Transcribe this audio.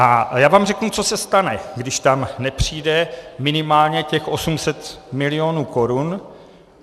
A já vám řeknu, co se stane, když tam nepřijde minimálně těch 800 milionů korun.